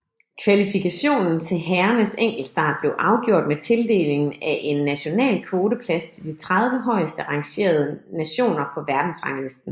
Kvalifikationen til herrernes enkeltstart blev afgjort med tildelingen af 1 national kvoteplads til de 30 højeste rangerede nationer på verdensranglisten